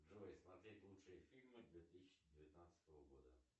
джой смотреть лучшие фильмы две тысячи девятнадцатого года